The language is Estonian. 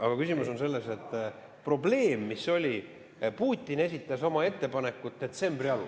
Aga küsimus on selles, et probleem, mis oli: Putin esitas oma ettepanekud detsembri alul.